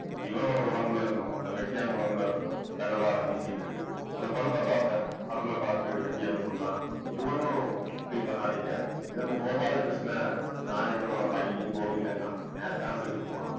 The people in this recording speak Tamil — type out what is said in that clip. இவனோட உடம்புல இருந்தும் இந்த வெட்டியான் உடம்புல இருந்தும் பினவாடை வீசிட்டு இருக்குது. அந்த பிணத்தை பார்த்தேன். அருளை பார்த்து வெட்டியான் சொல்றான். இது ஒண்ணும் feel பண்ணாதீங்க. இது நம்ம கோபால கிருஷ்ணன் நாயக்கரோட பையன் கோவிந்தன் தான் நேத்து தான் செத்து போனான்